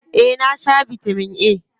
Eh, na sha bitamin A.